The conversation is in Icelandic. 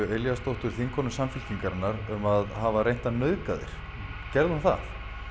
Elíasdóttur þingkonu Samfylkingarinnar um að hafa reynt að nauðga þér gerði hún það